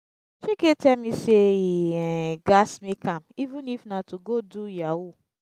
chike tell me say he um gats make am even if na to go do yahoo